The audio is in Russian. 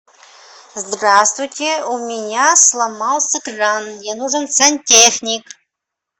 здравствуйте у меня сломался кран мне нужен сантехник